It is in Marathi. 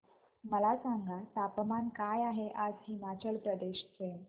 मला सांगा तापमान काय आहे आज हिमाचल प्रदेश चे